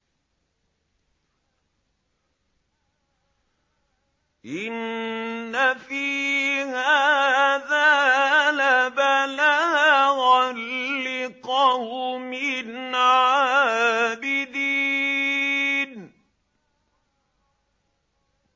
إِنَّ فِي هَٰذَا لَبَلَاغًا لِّقَوْمٍ عَابِدِينَ